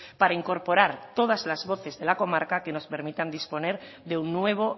para incorporar todas las voces de la comarca que nos permitan disponer de un nuevo